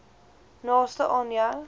naaste aan jou